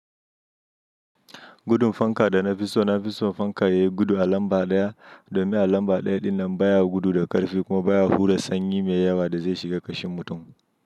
Gudun fanka da na fi so, na fi so fankan yayi gudu a lamba ɗaya domin a lamba ɗaya ɗin nan baya gudu da ƙarfi kuma baya hura sanyi mai yawa da zai shiga ƙashin mutum.